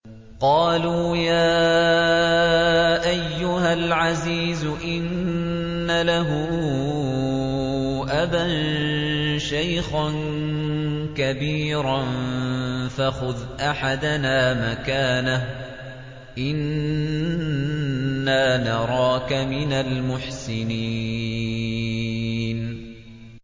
قَالُوا يَا أَيُّهَا الْعَزِيزُ إِنَّ لَهُ أَبًا شَيْخًا كَبِيرًا فَخُذْ أَحَدَنَا مَكَانَهُ ۖ إِنَّا نَرَاكَ مِنَ الْمُحْسِنِينَ